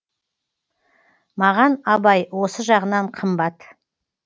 маған абай осы жағынан қымбат